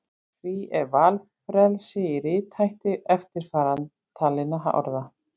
Því er valfrelsi í rithætti eftirtalinna orða: